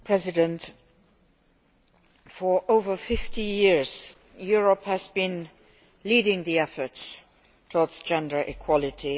Madam President, for over fifty years Europe has been leading the efforts towards gender equality.